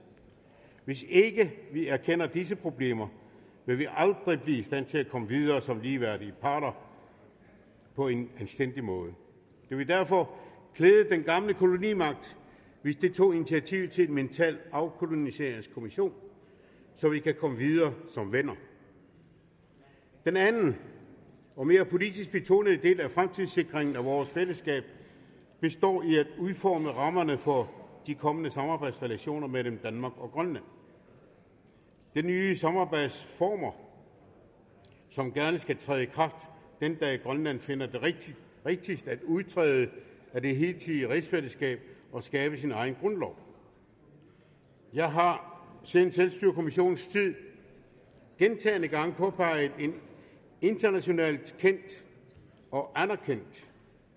hvis ikke vi erkender disse problemer vil vi aldrig blive i stand til at komme videre som ligeværdige parter på en anstændig måde det vil derfor klæde den gamle kolonimagt hvis den tog initiativ til en mental afkoloniseringskommission så vi kan komme videre som venner den anden og mere politisk betonede del af fremtidssikringen af vores fællesskab består i at udforme rammerne for de kommende samarbejdsrelationer mellem danmark og grønland det er nye samarbejdsformer som gerne skulle træde i kraft den dag grønland finder det rigtigst at udtræde af det hidtidige rigsfællesskab og skabe sin egen grundlov jeg har siden selvstyrekommissionens tid gentagne gange påpeget en internationalt kendt og anerkendt